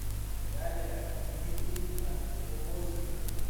дарья дмитриевна обозина